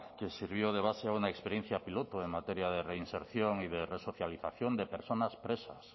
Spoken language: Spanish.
que sirvió de base a una experiencia piloto en materia de reinserción y de resocialización de personas presas